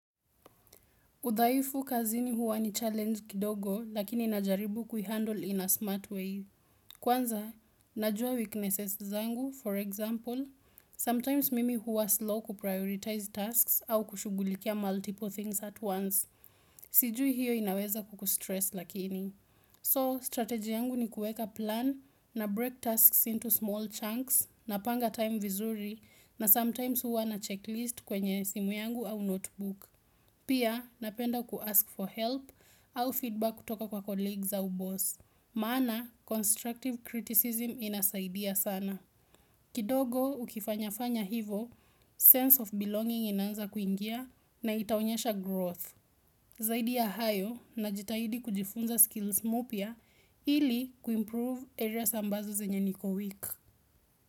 Udhaifu kazini huwa ni challenge kidogo lakini ninajaribu kuihandle in a smart way. Kwanza, najua weaknesses zangu, for example, sometimes mimi huwa slow kuprioritize tasks au kushugulikia multiple things at once. Sijui hiyo inaweza kukustress lakini. So, strategy yangu ni kueka plan na break tasks into small chunks napanga time vizuri na sometimes huwa na checklist kwenye simu yangu au notebook. Pia, napenda kuask for help au feedback kutoka kwa colleagues au boss. Maana, constructive criticism inasaidia sana. Kidogo ukifanya fanya hivo, sense of belonging inanza kuingia na itaonyesha growth. Zaidi ya hayo najitahidi kujifunza skills mupia ili kuimprove areas ambazo zenye niko weak.